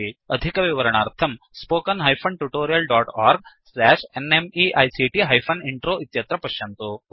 अधिकविवरणार्थं spoken hyphen tutorial dot org slash NMEICT hyphen intro इत्यत्र पश्यन्तु